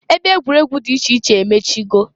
Ebe egwuregwu dị iche iche emechigo.